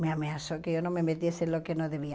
Me ameaçou que eu não me metesse no que não devia.